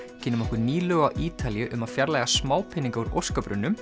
kynnum okkur ný lög á Ítalíu um að fjarlægja smápeninga úr